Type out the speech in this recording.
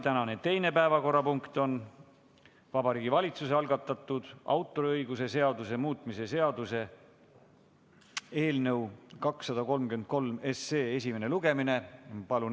Tänane teine päevakorrapunkt on Vabariigi Valitsuse algatatud autoriõiguse seaduse muutmise seaduse eelnõu 233 esimene lugemine.